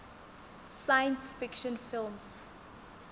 science fiction films